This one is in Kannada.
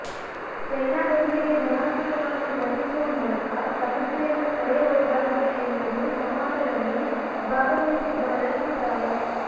ಚೈನಾದೊಂದಿಗೆ ಧನಾತ್ಮಕವಾಗಿ ವರ್ತಿಸುವ ಮೂಲಕ ಸಮಸ್ಯೆಯನ್ನು ತಡೆಯಬಹುದಾಗಿದೆ ಎನ್ನುವುದು ಸಂವಾದದಲ್ಲಿ ಭಾಗವಹಿಸಿದ್ದವರ ಅಭಿಪ್ರಾಯ